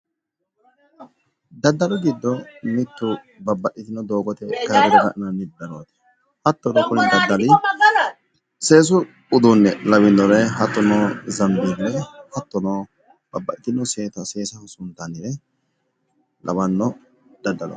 Daddalu giddo babbaxxitino daddalu gari no kuri kayinni ilete leellani noonkehu mini uduuni hidhinanni daddali baseti noorino mayiti amaxittano sanbele, umoho lunkanni barimexa lawinorino no